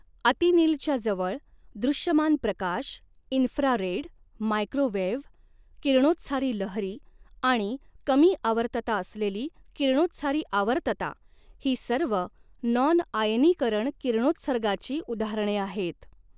अतिनीलच्या जवळ, दृश्यमान प्रकाश, इन्फ्रारेड, मायक्रोवेव्ह, किरणोत्सारी लहरी आणि कमी आवर्तता असलेली किरणोत्सारी आवर्तता ही सर्व नॉन आयनीकरण किरणोत्सर्गाची उदाहरणे आहेत.